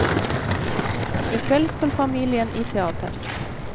I kveld skal familien i teater.